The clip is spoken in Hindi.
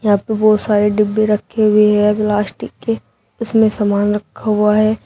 बहुत सारे डिब्बे रखी हुई है प्लास्टिक की उसने सामान रखा हुआ है।